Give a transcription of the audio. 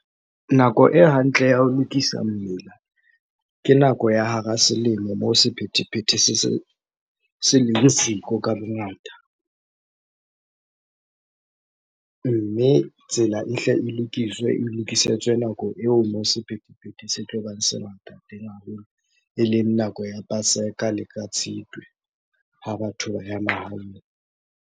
Nako e hantle ya ho lokisa mmila, ke nako ya hara selemo moo sephethephethe se leng siko ka bongata. Mme tsela e hle e lokiswe, e lokisetswe nako eo moo sephethephethe se tlobang se ngata teng haholo. Eleng nako ya paseka le ka Tshitwe ha batho ba ya mahaeng.